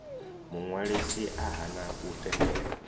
muṅwalisi a hana u tendela